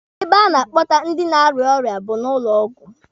Ebe a na-akpọta ndị na-arịa ọrịa bụ na ụlọ ọgwụ.